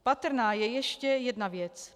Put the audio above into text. Patrná je ještě jedna věc.